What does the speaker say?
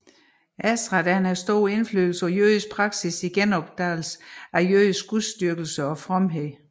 Ezra havde stor indflydelse på jødisk praksis i genopdagelsen af jødisk gudsdyrkelse og fromhed